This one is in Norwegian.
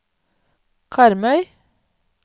Karmøy